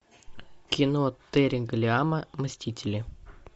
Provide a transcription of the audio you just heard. кино терри гиллиама мстители